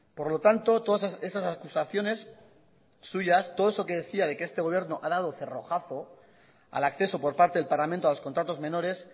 por lo tanto todas esas acusaciones suyas todo eso que decía de que este gobierno ha dado cerrojazo al acceso por parte del parlamento a los contratos menores